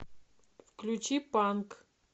включи панк